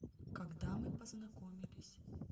когда мы познакомились